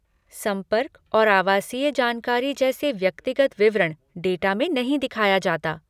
संपर्क और आवासीय जानकारी जैसे व्यक्तिगत विवरण डाटा में नहीं दिखाया जाता।